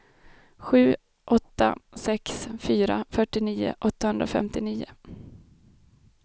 sju åtta sex fyra fyrtionio åttahundrafemtionio